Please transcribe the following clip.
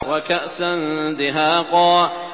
وَكَأْسًا دِهَاقًا